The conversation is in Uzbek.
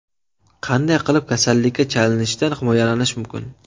Qanday qilib kasallikka chalinishdan himoyalanish mumkin?.